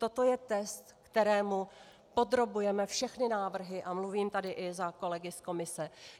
Toto je test, kterému podrobujeme všechny návrhy, a mluvím tady i za kolegy z Komise.